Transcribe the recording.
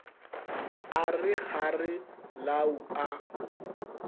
a re kgare lau a